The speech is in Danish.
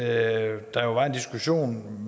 at der jo var en diskussion